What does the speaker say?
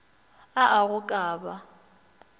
a a go ka ba